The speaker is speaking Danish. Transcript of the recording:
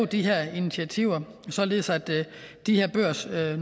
de her initiativer således at de her børsnoterede